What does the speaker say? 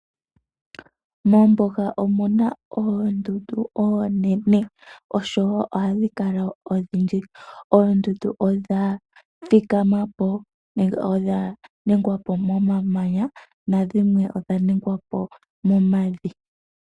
Mombuga omuna oondundu onene oshowo ohadhi kala odhindji. Oondundu odha thikamapo nenge odha nigwapo momamanya nadhimwe odha nigwapo momavi.